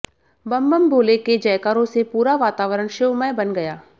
बम बम भोले के जयकारों से पूरा वातावरण शिवमय बन गया